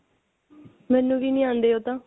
ਮੈਨੂੰ ਵੀ ਨਹੀਂ ਆਂਦੇ ਉਹ ਤਾਂ